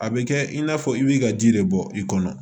A bɛ kɛ in n'a fɔ i b'i ka ji de bɔ i kɔnɔ